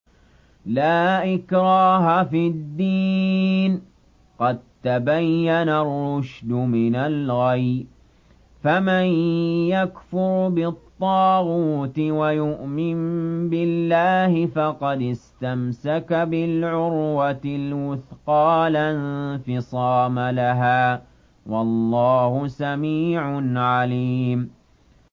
لَا إِكْرَاهَ فِي الدِّينِ ۖ قَد تَّبَيَّنَ الرُّشْدُ مِنَ الْغَيِّ ۚ فَمَن يَكْفُرْ بِالطَّاغُوتِ وَيُؤْمِن بِاللَّهِ فَقَدِ اسْتَمْسَكَ بِالْعُرْوَةِ الْوُثْقَىٰ لَا انفِصَامَ لَهَا ۗ وَاللَّهُ سَمِيعٌ عَلِيمٌ